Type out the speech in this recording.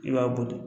I b'a boli